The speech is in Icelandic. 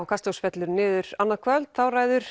kastljós fellur niður annað kvöld þá ræður